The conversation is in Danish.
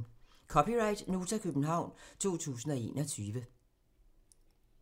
(c) Nota, København 2021